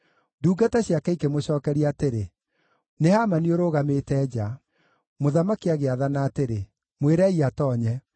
Ndungata ciake ikĩmũcookeria atĩrĩ, “Nĩ Hamani ũrũgamĩte nja.” Mũthamaki agĩathana atĩrĩ, “Mwĩrei atoonye.”